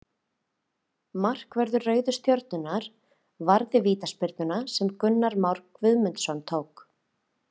Markvörður Rauðu stjörnunnar varði vítaspyrnuna sem Gunnar Már Guðmundsson tók.